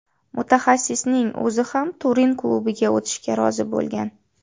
Mutaxassisning o‘zi ham Turin klubiga o‘tishga rozi bo‘lgan.